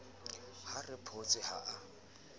a re photse ha a